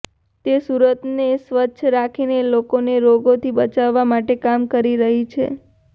તે સુરતને સ્વચ્છ રાખીને લોકોને રોગોથી બચાવવા માટે કામ કરી રહી છે